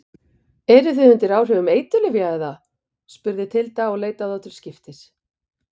Eruð þið undir áhrifum eiturlyfja, eða spurði Tilda og leit á þá til skiptis.